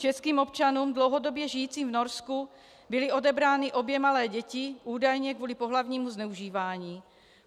Českým občanům dlouhodobě žijícím v Norsku byly odebrány obě malé děti, údajně kvůli pohlavnímu zneužívání.